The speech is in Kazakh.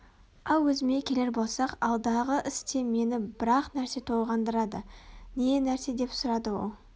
ал өзіме келер болсақ алдағы істе мені бір-ақ нәрсе толғандырады не нәрсе деп сұрады ол